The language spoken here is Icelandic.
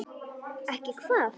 Ekki hvað?